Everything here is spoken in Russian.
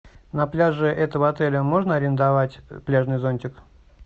на пляже этого отеля можно арендовать пляжный зонтик